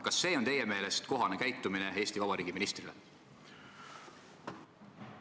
Kas see on teie meelest kohane käitumine Eesti Vabariigi ministrile?